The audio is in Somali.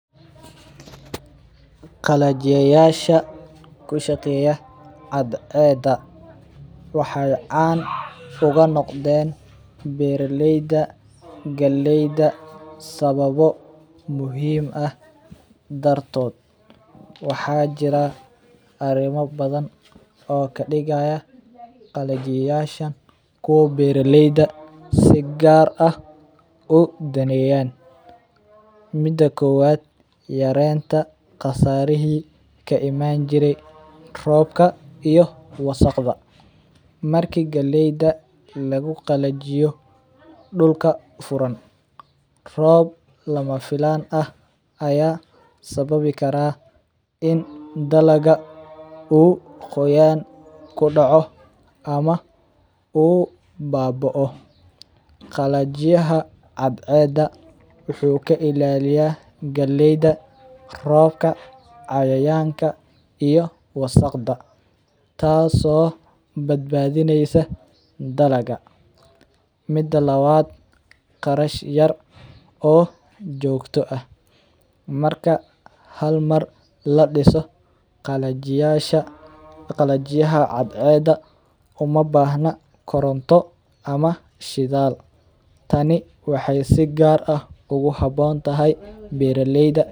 Galajiyasha kushageya cadceda waxay caan ogunogden beraleyda galleyda sawabo muxiim ah dartod, waxa jira arimo badan oo kadigayo qallajiyasha kiwa beraleyda si gaar ah udaneyaan, mida kowad yarenta qasarihi kaiman jire roobka iyo wasaqda, marka galleyda laguqalajiyo dulka furaan, roob lamafilaan ah aya sababi kara in dalaga ugoyaan kudoco ama uu baboo, qalajiyaha cadceda wuxu kailaliya galleyda roobka cayayanka iyo wasaqda, taas oo badbadinaysa dalaga, mida lawad qarash yar oo jogta ah, marka hal mar ladiso qalajiyaha cadceda umabahna koronta ama shidaal taani waxay si gaar oguhabontahay beraleyda.